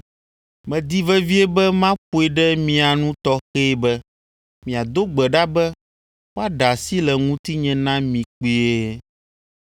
Medi vevie be maƒoe ɖe mia nu tɔxɛe be miado gbe ɖa be woaɖe asi le ŋutinye na mi kpuie.